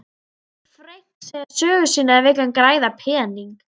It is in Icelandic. Vill Frank segja sögu sína eða vill hann græða pening?